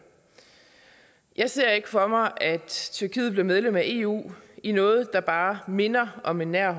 jeg ser ikke for mig at tyrkiet bliver medlem af eu i noget der bare minder om en nær